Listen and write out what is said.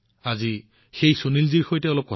আহক সুনীলজীৰ সৈতে কথা পাতোঁ